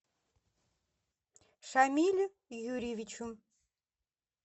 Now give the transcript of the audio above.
шамилю юрьевичу